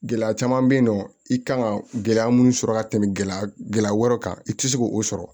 Gɛlɛya caman bɛ yen nɔ i kan ka gɛlɛya minnu sɔrɔ ka tɛmɛ gɛlɛya wɛrɛw kan i tɛ se k'o sɔrɔ